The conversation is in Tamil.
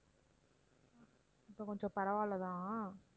இப்ப கொஞ்சம் பரவாயில்ல தான்